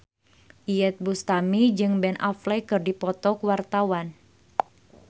Iyeth Bustami jeung Ben Affleck keur dipoto ku wartawan